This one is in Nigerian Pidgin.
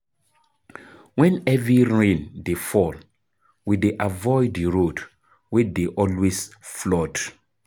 Wen heavy rain dey fall, we dey avoid di road wey dey always flood.